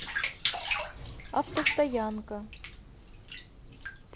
автостоянка